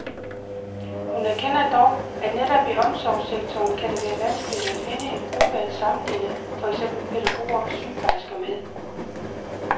Hun erkender dog, at netop i omsorgssektoren kan det være vanskeligt at finde en gruppe at sammenligne for eksempel pædagoger og sygeplejersker med.